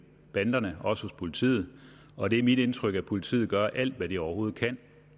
banderne også hos politiet og det er mit indtryk at politiet gør alt hvad de overhovedet kan